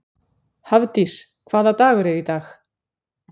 Hafdís, hvaða dagur er í dag?